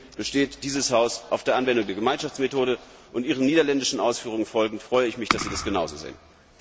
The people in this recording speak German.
Deswegen besteht dieses Haus auf der Anwendung der Gemeinschaftsmethode. Ihren niederländischen Ausführungen folgend freue ich mich, dass Sie das genauso sehen.